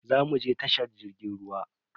Zo muje tashar jirgin ruwa.